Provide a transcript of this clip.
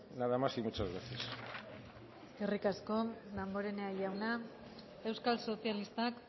nada más y muchas gracias eskerrik asko damborenea jauna euskal sozialistak